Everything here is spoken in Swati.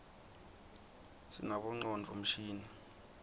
sinabonqcondvo mshini